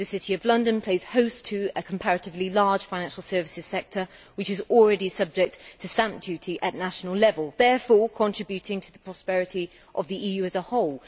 The City of London plays host to a comparatively large financial services sector which is already subject to stamp duty at national level, therefore contributing to the prosperity of the EU as a whole.